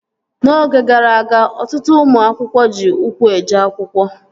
N'oge gara aga, ọtụtụ ụmụ akwụkwọ ji ụkwụ eje akwụkwọ